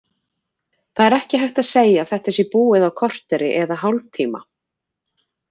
Það er ekki hægt að segja að þetta sé búið á korteri eða hálftíma.